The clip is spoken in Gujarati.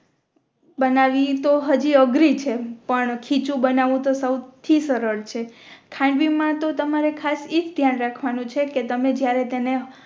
બનાવી તો આજી અઘરી છે પણ ખીચું બનવું તો સૌ થી સરળ છે ખાંડવી મા તો તમારે ખાસ ઇજ ધ્યાન રાખવાનું છે કે તમે જ્યારે તેને